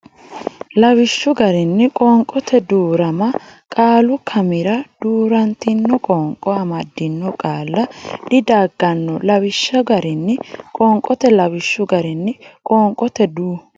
lawishshu garinni Qoonqote duu rama qaalu kaimira duu rantino qoonqo amaddino qaalla didagganno lawishshu garinni Qoonqote lawishshu garinni Qoonqote duu.